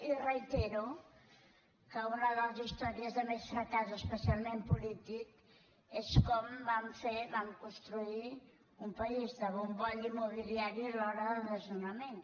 i reitero que una de les històries de més fracàs especialment polític és com vam fer vam construir un país de bombolla immobiliària i alhora de desnonaments